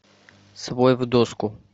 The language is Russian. свой в доску